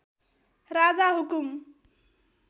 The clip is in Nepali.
राजा हुकुम